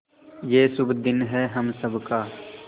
ये शुभ दिन है हम सब का